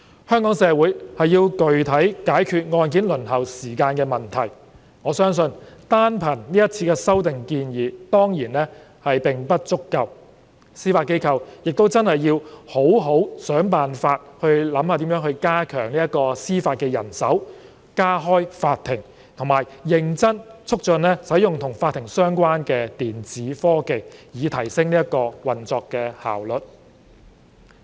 香港社會要具體解決案件輪候時間的問題，我相信單憑這次修訂建議當然並不足夠，司法機構亦要好好想辦法加強司法人手、加開法庭，以及認真促進使用與法庭相關的電子科技，以提升運作效率。